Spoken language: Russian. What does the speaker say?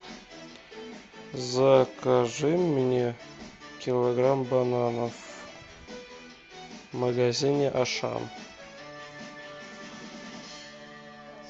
закажи мне килограмм бананов в магазине ашан